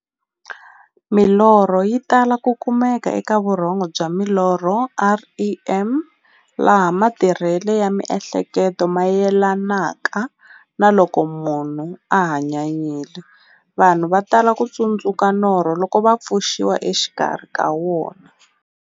Milorho yi tala ku kumeka eka vurhongo bya milorho, REM, laha matirhele ya mi'hleketo mayelanaka na loko munhu a hanyanyile. Vanhu va tala ku tsundzuka norho loko va pfuxiwa exikarhi ka wona.